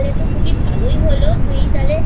ভালোই হলো তুই তাহলে